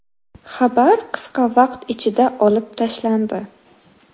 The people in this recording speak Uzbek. Xabar qisqa vaqt ichida olib tashlandi.